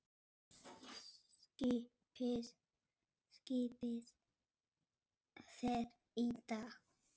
Skipið fer í dag.